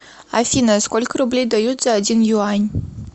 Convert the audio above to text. афина сколько рублей дают за один юань